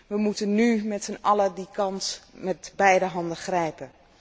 We moeten nu met z'n allen die kans met beide handen grijpen.